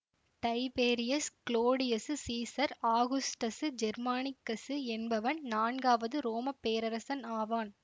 Tiberius Claudius Caesar Augustus Germanicus என்பவன் நான்காவது ரோம பேரரசன் ஆவான்